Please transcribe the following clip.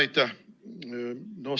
Aitäh!